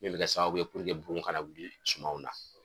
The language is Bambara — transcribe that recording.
Min be kɛ sababu ye bugun kana wuli sumanw na.